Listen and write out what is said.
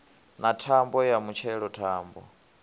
na thambo ya mutshelo thambo